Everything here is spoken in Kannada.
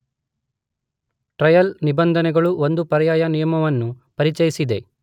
ಟ್ರಯಲ್ ನಿಬಂಧನೆಗಳು ಒಂದು ಪರ್ಯಾಯ ನಿಯಮವನ್ನೂ ಪರಿಚಯಿಸಿದೆ